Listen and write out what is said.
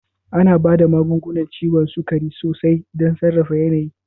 Ana ba da magungunan ciwon sukari sosai don sarrafa yanayin.